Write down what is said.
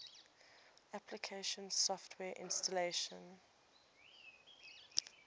application software installation